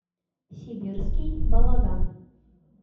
сибирский балаган